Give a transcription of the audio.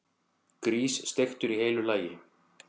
Grís, steiktur í heilu lagi!